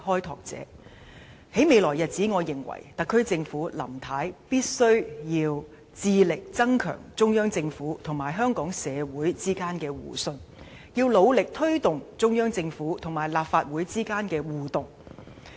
我認為，在未來日子，特區政府和林太必須致力增強中央政府與香港社會之間的互信，要努力推動中央政府與立法會之間的互動。